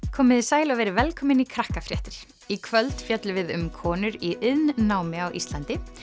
komiði sæl og verið velkomin í í kvöld fjöllum við um konur í iðnnámi á Íslandi